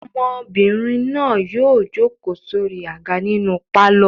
Ọmọbìnrin náà yóò jókòó sórí àga nínú pálọ̀.